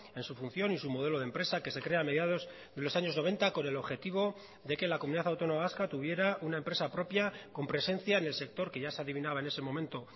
en su función y su modelo de empresa que se crea a mediados de los años noventa con el objetivo de que la comunidad autónoma vasca tuviera una empresa propia con presencia en el sector que ya se adivinaba en ese momento